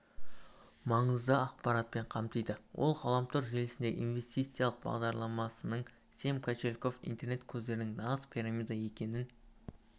маңызды ақпаратпен қамтиды ол ғаламтор желісіндегі инвестициялық бағдарламасының семь кошельков интернет көздерінің нағыз пирамида екенін